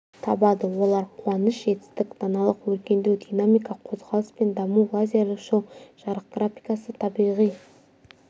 табады олар қуаныш жетістік даналық өркендеу динамика қозғалыс пен даму лазерлік шоу жарық графикасы табиғи